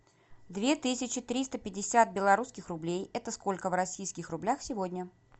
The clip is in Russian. две тысячи триста пятьдесят белорусских рублей это сколько в российских рублях сегодня